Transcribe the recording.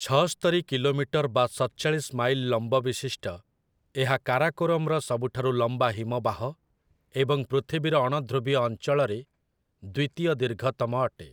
ଛଅସ୍ତରୀ kilometre ବା ସତଚାଳିଶ mile ଲମ୍ବବିଶିଷ୍ଟ, ଏହା କାରାକୋରମ୍‌ର ସବୁଠାରୁ ଲମ୍ବା ହିମବାହ ଏବଂ ପୃଥିବୀର ଅଣଧୃବୀୟ ଅଞ୍ଚଳରେ ଦ୍ୱିତୀୟ ଦୀର୍ଘତମ ଅଟେ ।